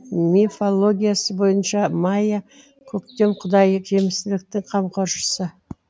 ежелгі итальян мифологиясы бойынша майя көктем құдайы жемістіліктің қамқоршысы